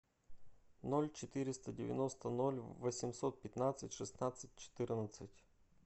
ноль четыреста девяносто ноль восемьсот пятнадцать шестнадцать четырнадцать